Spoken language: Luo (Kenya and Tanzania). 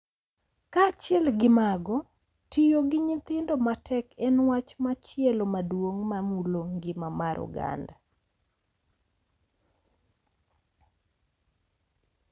Kaachiel gi mago, tiyo gi nyithindo matek en wach machielo maduong’ ma mulo ngima mar oganda .